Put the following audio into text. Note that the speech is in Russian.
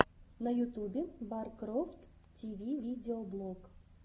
на ютюбе баркрофт ти ви видеоблог